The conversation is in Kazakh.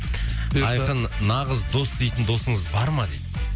бұйырса айқын нағыз дос дейтін досыңыз бар ма дейді